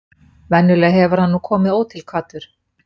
Venjulega hefur hann nú komið ótilkvaddur.